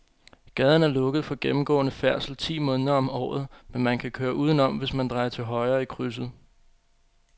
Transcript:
Gaden er lukket for gennemgående færdsel ti måneder om året, men man kan køre udenom, hvis man drejer til højre i krydset.